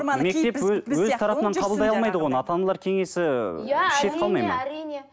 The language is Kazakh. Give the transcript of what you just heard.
мектеп өз тарапынан қабылдай алмайды ғой оны ата аналар кеңесі иә әрине әрине